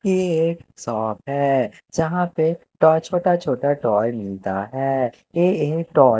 ये एक शॉप है यहां पे टॉय छोटा छोटा टॉय मिलता है ये एक टो--